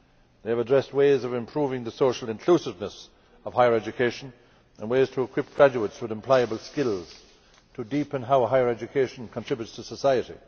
They have addressed ways of improving the social inclusiveness of higher education and ways to equip graduates with employable skills, to deepen how higher education contributes to society.